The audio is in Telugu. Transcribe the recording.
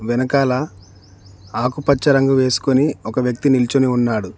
వెనకాల ఆకుపచ్చ రంగు వేసుకొని ఒక వ్యక్తి నిల్చొని ఉన్నాడు.